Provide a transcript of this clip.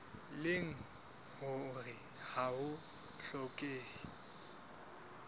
leng hore ha ho hlokehe